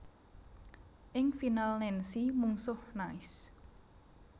Ing final Nancy mungsuh Nice